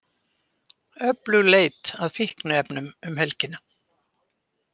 Öflug leit að fíkniefnum um helgina